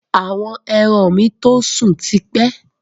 Àwọn ẹran mi to sún tipẹ́